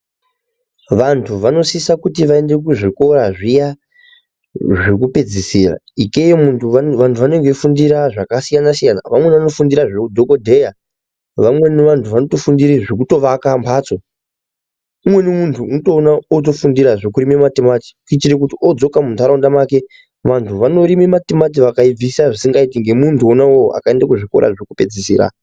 Vantu vanosisa kuti vaende kuzvikora zviya zvekupedzisira. Ikeyo vantu vanenge veifundira zvakasiyana siyana. Vamweni vanofundira zveudhogodheya. Vamweni vantu vanotofundire zvekutovaka mbatso. Umweni muntu unotoono atofundira zvekurime matimati kuitira kuti odzoka muntaraunda make, vantu vanorime matimati vakaibvisa zvisingaiti ngemuntu wona iwowo akaenda kuzvikora zvekupedzisira.